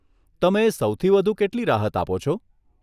તમે સૌથી વધુ કેટલી રાહત આપો છો?